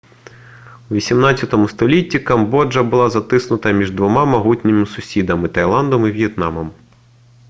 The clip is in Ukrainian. у 18 столітті камбоджа була затиснута між двома могутніми сусідами — таїландом і в'єтнамом